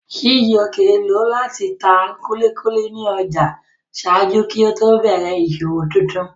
Chijioke lọ láti ta kúlíkúlí ní ọjà ṣáájú kí ó tó bẹ̀rẹ̀ ìṣòwò tuntun